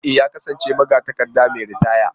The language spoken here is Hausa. E! ya kasance magatakarda mai ritaya.